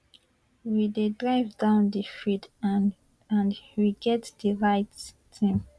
we dey drive down di field and and we get di right team